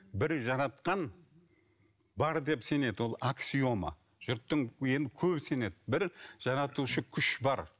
бір жаратқан бар деп сенеді ол аксиома жұрттың енді көбі сенеді бір жаратушы күш бар